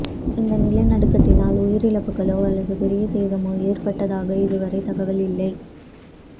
இந்த நிலநடுக்கத்தினால் உயிரிழப்புகளோ அல்லது பெரிய சேதமோ ஏற்பட்டதாக இதுவரை தகவல் இல்லை